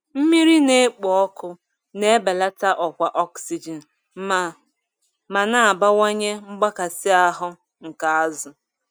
Mmiri na-ekpo ọkụ na-ebelata ọkwa ọksijin ma ma na-abawanye mgbakasị ahu nke azụ.